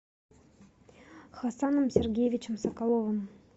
хасаном сергеевичем соколовым